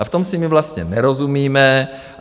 A v tom si my vlastně nerozumíme.